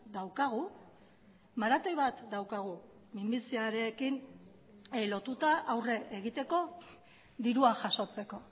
daukagu maratoi bat daukagu minbiziarekin lotuta aurre egiteko dirua jasotzeko